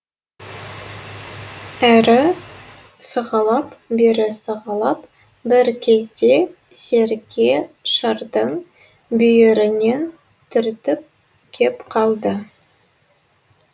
әрі сығалап бері сығалап бір кезде серке шардың бүйірінен түртіп кеп қалды